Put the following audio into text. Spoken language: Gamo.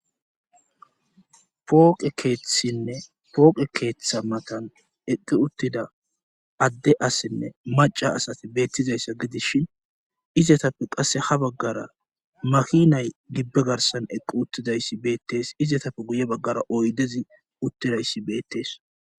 pooqe keethinne pooqe keeththa matan eqqi uttida adde asinne maca asati beettizayssa gidishin izatappe qasse ha baggara maki nay gibbe garsan eqqi uttidayssi beettees izatappe guye baggara oydezi uttidayssi beettees